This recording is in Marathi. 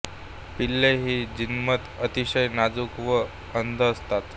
पिल्ले ही जन्मतः अतिशय नाजूक व अंध असतात